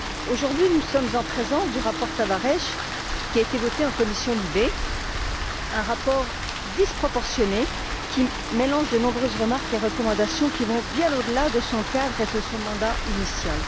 Aujourd'hui, nous sommes en présence du rapport Tavares, qui a été voté en commission LIBE un rapport disproportionné qui mélange de nombreuses remarques et recommandations allant bien au delà de son cadre et de son mandat initial.